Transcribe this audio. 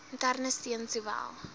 interne steun sowel